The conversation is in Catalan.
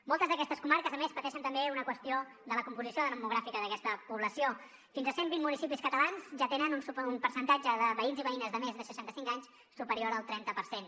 moltes d’aquestes comarques a més pateixen també una qüestió de la composició demogràfica d’aquesta població fins a cent vint municipis catalans ja tenen un percentatge de veïns i veïnes de més de seixanta cinc anys superior al trenta per cent